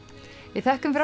við þökkum fyrir